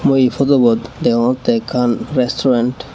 ui photobot degongte ekan restaurant.